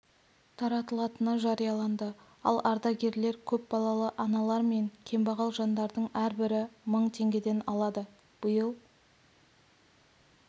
таратылатыны жарияланды ал ардагерлер көп балалы аналар мен кембағал жандардың әрбірі мың теңгеден алады биыл